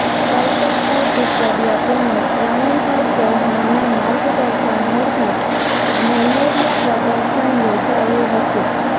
કલ્પેશભાઈ કુકડિયા તેમજ પ્રવીણભાઈ ચૌહાણના માર્ગદર્શન હેઠળ મેલેરિયા પ્રદર્શન યોજાયું હતું